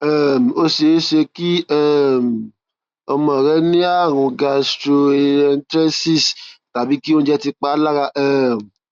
um ó ṣeé ṣe kí um ọmọ rẹ ní ààrùn gastroenteritis tàbí kí oúnjẹ ti pa á lára um